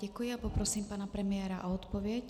Děkuji a poprosím pana premiéra o odpověď.